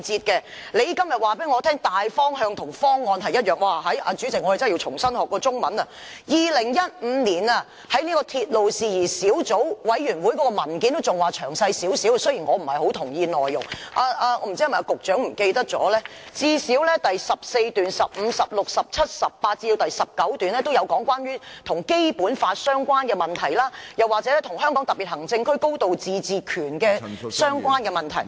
局長今天告訴我"大方向"與"方案"是一樣的——主席，我們真的要重新學習中文 ——2015 年，在鐵路事宜小組委員會上提交的文件尚算詳細，儘管我不太同意內容，但不知道局長是否忘記，最少在第14、15、16、17、18及19段均有提及關於與《基本法》相關的問題，或與香港特別行政區"高度自治權"的相關問題。